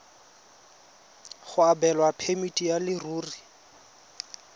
go abelwa phemiti ya leruri